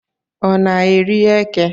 Ọ na eri eke?